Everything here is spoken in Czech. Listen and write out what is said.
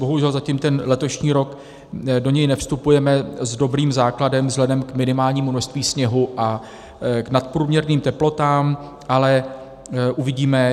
Bohužel zatím ten letošní rok, do něj nevstupujeme s dobrým základem vzhledem k minimálnímu množství sněhu a k nadprůměrným teplotám, ale uvidíme.